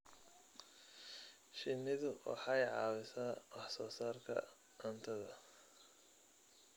Shinnidu waxay caawisaa wax soo saarka cuntada.